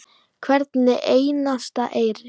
Hvern einasta eyri.